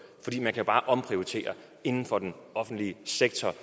man kan jo bare omprioritere inden for den offentlige sektor